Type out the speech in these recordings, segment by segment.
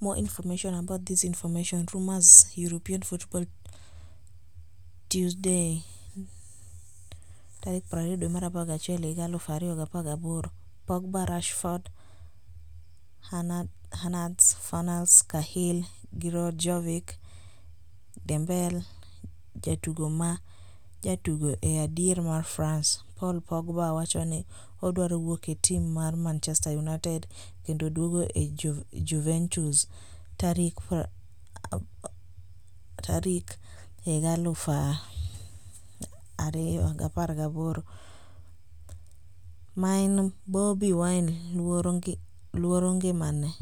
More information about this information Rumors European Football Tuesday 20.11.2018: Pogba, Rashford, Hernandez, Fornals, Cahill, Giroud, Jovic, Dembele Jatugo ma jatugo e diere mar France Paul Pogba wacho ni odwaro wuok e tim mar Manchester United kendo duogo e Juventus tarik 2018. main Bobi Wine 'luoro ngimane'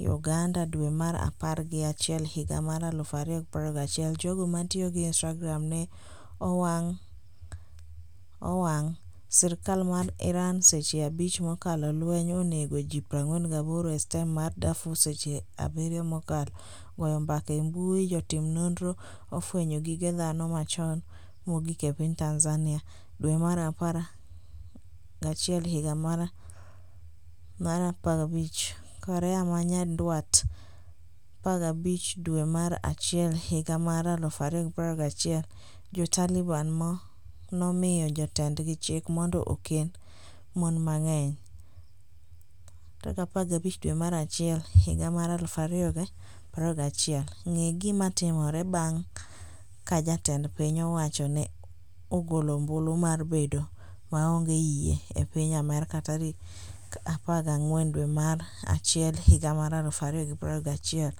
Uganda dwe mar apar gi achiel higa mar 2021 Jogo matiyo gi Instagram ne owang' sirikal mar Iran seche 5 mokalo Lweny onego ji 48 e stem mar Darfur Seche 7 mokalo Goyo mbaka e mbui Jotim nonro ofwenyo gige dhano machon mogik e piny Tanzania dwe mar apar achiel higa mar 15, Korea ma Nyanduat 15 dwe mar achiel higa mar 2021 Jo-Taliban nomiyo jotendgi chik mondo okend mon mang’eny 15 dwe mar achiel higa mar 2021 Ng'e gima timore bang' ka jatend piny owacho Ne ogolo ombulu mar bedo maonge yie e piny Amerka tarik 14 dwe mar achiel higa mar 2021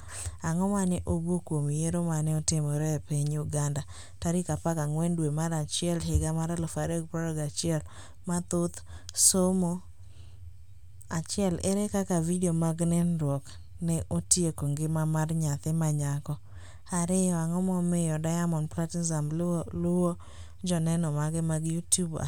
Ang'o mane owuok kuom Yiero mane otimre e piny Uganda tarik 14 dwe mar achiel higa mar 2021 Mathoth somo 1 Ere kaka video mag nindruok ne otieko ngima mar nyathi ma nyako 2 Ang'o momiyo Diamond Platinumz luwo joneno mage mag YouTube ahinya?